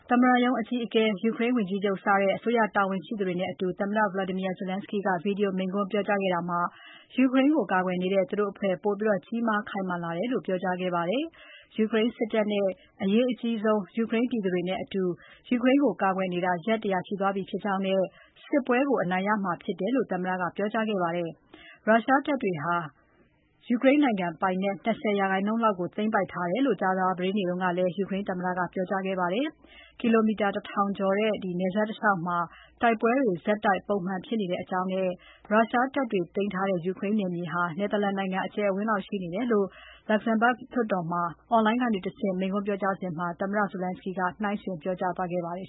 သမ္မတရုံးအကြီးအကဲ၊ ယူကရိန်းဝန်ကြီးချုပ်စတဲ့ အစိုးရတာဝန်ရှိသူတွေနဲ့အတူ သမ္မတ Volodymyr Zelensky က Video မိန့်ခွန်းပြောကြားခဲ့တာမှာ ယူကရိန်းကိုကာကွယ်နေတဲ့ သူတို့ သူတို့အဖွဲ့ ပိုပြီး ကြီးမား ခိုင် မာလာတယ်လို့ ပြောကြားခဲ့ပါတယ်။ ယူကရိန်းစစ်တပ်နဲ့ အရေးအကြီးဆုံး ယူကရိန်းပြည်သူတွေနဲ့အတူ ယူကရိန်းကို ကာကွယ်နေတာ ရက် ၁၀၀ ရှိသွားပြီဖြစ်ကြောင်းနဲ့ အောင်မြင်မှုကို ရရှိမှာဖြစ်တယ်လို့ သမ္မတက ပြောကြားခဲ့ပါတယ်။ ရုရှားတပ်တွေဟာ ရုရှားနိုင်ငံပိုင်နက် ၂၀% လောက်ကို သိမ်းပိုက်ထားတယ်လို့ ကြာသပတေးနေ့က ပြောကြားခဲ့ပါတယ်။ ကီလိုမီတာ တထောင်ကျော်တဲ့ နယ်စပ်တလျှောက်မှာ တိုက်ပွဲတွေ ဆက်တိုက်၊ ပုံမှန်ဖြစ်နေတဲ့အကြောင်းနဲ့ ရုရှားတပ်တွေသိမ်းထားတဲ့ ယူကရိန်းနယ်မြေဟာ နယ်သာလန်နိုင်ငံ အကျယ်အဝန်းလောက်ရှိတယ်လို့ Luxembourg လွှတ်တော်မှာ အွန်လိုင်းတကဆင့် မိန်းခွန်းပြောစဉ် သမ္မတ Zelensky က နှိုင်းယှှုဉ် ပြောကြားသွားခဲ့ပါတယ်